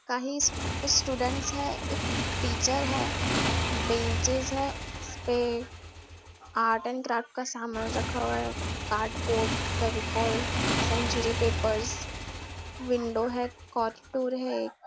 काही कुछ स्टूडेंट्स है एक टीचर है बेंचेस है उसपे आर्ट एंड क्राफ्ट का सामान रखा हुआ है cardboard Fevicol century papers window है है एक --